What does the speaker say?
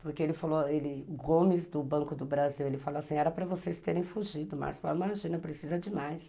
Porque ele falou, o Gomes do Banco do Brasil, ele falou assim, era para vocês terem fugido, mas imagina, precisa demais.